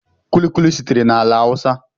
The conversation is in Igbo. Kulikuli sitere na ala hausa